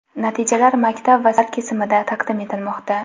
Natijalar maktab va sinflar kesimida taqdim etilmoqda.